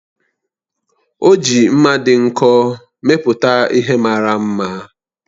O ji mma dị nkọ mepụta ihe mara mma.